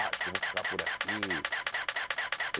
Acho que eu vou ficar por aqui.